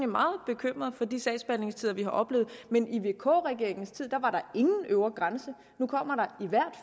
meget bekymret for de sagsbehandlingstider vi har oplevet men i vk regeringens tid var der ingen øvre grænse nu kommer der i hvert